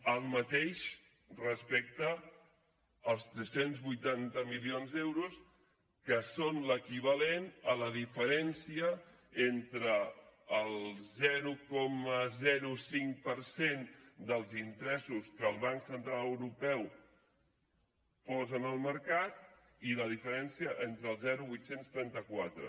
el mateix respecte als tres cents i vuitanta milions d’euros que són l’equivalent a la diferència entre el zero coma cinc per cent dels interessos que el banc central europeu posa en el mercat i la diferència entre el zero coma vuit cents i trenta quatre